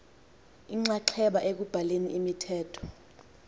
inxaxheba ekubhaleni imithetho